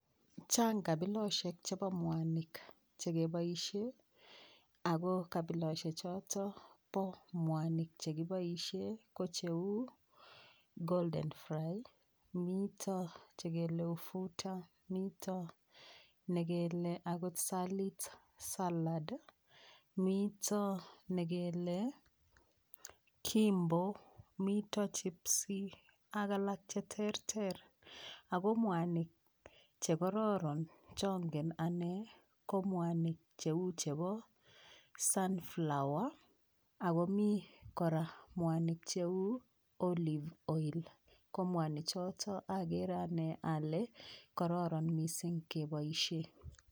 Chang kabilosiek chebo mwanik chekeboishee ako kabiloshek choto bo mwanik che kiboishe ko cheu golden fry mito chekele ufuta mito nekele akot salit salad mito nekele Kimbo mito chipsy ak alak cheterter ako mwanik chekororon chongen ane ko mwanik cheu chebo sunflower akomii kora cheu olive oil ko mwani choto chagere ane ale kororon mising keboishe